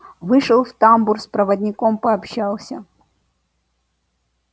вышел в тамбур с проводником пообщался